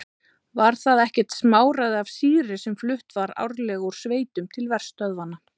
Var það ekkert smáræði af sýru sem flutt var árlega úr sveitum til verstöðvanna.